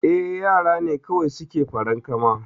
Eh yara ne kawai suke farankama